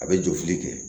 A bɛ jɔ fili kɛ